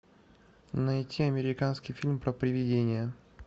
найти американский фильм про приведение